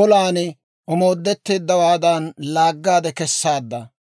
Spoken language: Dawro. olan omoodetteeddawaadan laaggaade kessaadda.